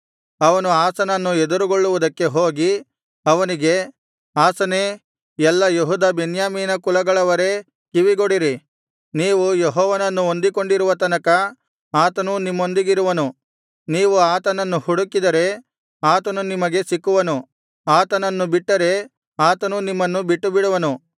ಅವನು ಆಸನನ್ನು ಎದುರುಗೊಳ್ಳುವುದಕ್ಕೆ ಹೋಗಿ ಅವನಿಗೆ ಆಸನೇ ಎಲ್ಲಾ ಯೆಹೂದ ಬೆನ್ಯಾಮೀನ ಕುಲಗಳವರೇ ಕಿವಿಗೊಡಿರಿ ನೀವು ಯೆಹೋವನನ್ನು ಹೊಂದಿಕೊಂಡಿರುವ ತನಕ ಆತನೂ ನಿಮ್ಮೊಂದಿಗಿರುವನು ನೀವು ಆತನನ್ನು ಹುಡುಕಿದರೆ ಆತನು ನಿಮಗೆ ಸಿಕ್ಕುವನು ಆತನನ್ನು ಬಿಟ್ಟರೆ ಆತನೂ ನಿಮ್ಮನ್ನು ಬಿಟ್ಟುಬಿಡುವನು